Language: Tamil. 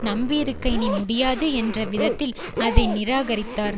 நம்பியிருக்க இனி முடியாது என்ற விதத்தில் அதை நிராகரித்தார்